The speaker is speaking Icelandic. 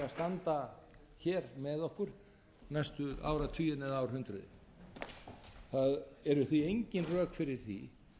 standa hér með okkur næstu áratugina eða árhundruð það eru því engin rök fyrir því